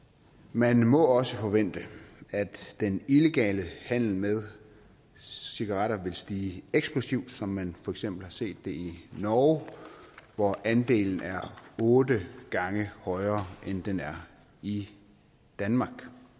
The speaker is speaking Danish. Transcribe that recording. man må også forvente at den illegale handel med cigaretter vil stige eksplosivt som man for eksempel har set det i norge hvor andelen er otte gange højere end den er i danmark